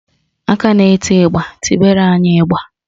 Aka na-eti ịgba, tibara anyị ịgba